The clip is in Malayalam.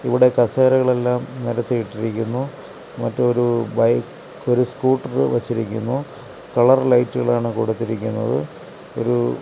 ഇവിടെ കസേരകൾ എല്ലാം നിരത്തിയിട്ടിരിക്കുന്നു മറ്റൊരു ബൈക്ക് ഒരു സ്കൂട്ടർ വെച്ചിരിക്കുന്നു കളർ ലൈറ്റുകൾ ആണ് കൊടുത്തിരിക്കുന്നത് ഒരു--